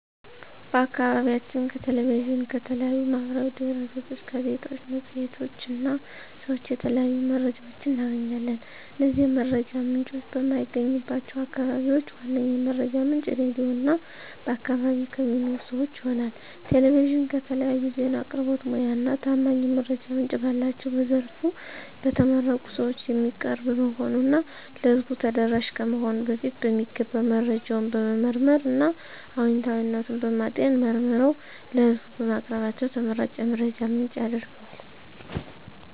በአከባቢያችን ከ ቴሌቪዥን፣ ከተለያዩ ማህበራዊ ድህረገጾች፣ ጋዜጣዎች፣ መፅሔቶች እና ሰዎች የተለያዩ መረጃዎች እናገኛለን። እነዚህ የመረጃ ምንጮች በማይገኙባቸው አከባቢዎች ዋነኛ የመረጃ ምንጭ ራድዮ እና በአከባቢ ከሚኖሩ ሰወች ይሆናል። ቴሌቪዥን ከተለያዩ ዜና አቅርቦት ሙያ እና ታማኝ የመረጃ ምንጭ ባላቸው በዘርፉ በተመረቁ ሰወች የሚቀርብ በመሆኑ እና ለህዝቡ ተደራሽ ከመሆኑ በፊት በሚገባ መረጃውን በመመርመር እና እውነታዊነቱን በማጤን መርምረው ለህዝቡ በማቅረባቸው ተመራጭ የመረጃ ምንጭ ያረገዋል።